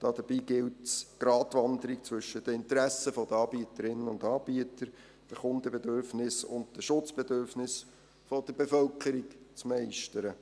Dabei gilt es, die Gratwanderung zwischen den Interessen der Anbieterinnen und Anbieter, den Kundenbedürfnissen und den Schutzbedürfnissen der Bevölkerung zu meistern.